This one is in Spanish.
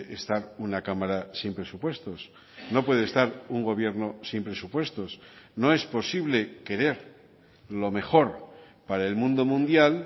estar una cámara sin presupuestos no puede estar un gobierno sin presupuestos no es posible querer lo mejor para el mundo mundial